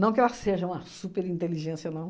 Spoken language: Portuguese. Não que ela seja uma super inteligência, não.